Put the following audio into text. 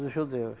judeus.